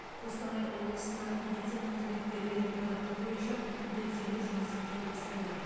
қостанай облысына медицина қызметкерлерін тарту бойынша белсенді жұмыс жалғасуда